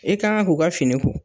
I ka kan k'u ka fini ko.